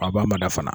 A b'a mada fana